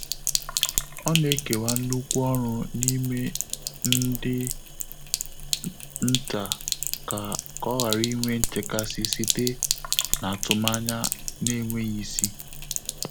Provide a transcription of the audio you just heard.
Ọ́ nà-ékèwá nnùkú ọ́rụ́ n’ímé ndị́ ntá kà kà ọ́ ghàrà ínwé nchékàsị́ sìté n’átụ́mànyà nà-énwéghị́ ísí.